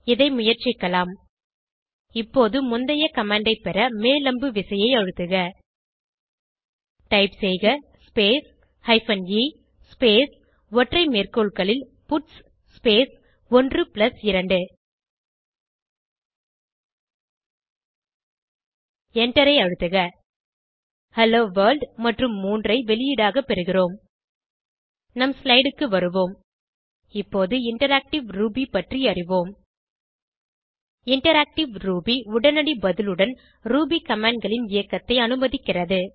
இதை முயற்சிக்கலாம் இப்போது முந்தைய கமாண்ட் ஐ பெற மேல் அம்பு விசையை அழுத்துக டைப் செய்க ஸ்பேஸ் ஹைபன் எ ஸ்பேஸ் ஒற்றை மேற்கோள்களில் பட்ஸ் ஸ்பேஸ் 12 எண்டரை அழுத்துக ஹெல்லோ வர்ல்ட் மற்றும் 3 ஐ வெளியீடாக பெறுகிறோம் நம் ஸ்லைடு க்கு வருவோம் இப்போது இன்டராக்டிவ் ரூபி பற்றி அறிவோம் இன்டராக்டிவ் ரூபி உடனடி பதிலுடன் ரூபி commandகளின் இயக்கத்தை அனுமதிக்கிறது